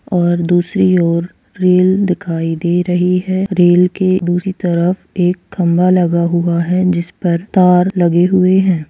और दूसरी ओर रेल दिखाई दे रही है रेल के दूसरी तरफ एक खंबा लगा हुआ है जिसपर तार लगी हुई है।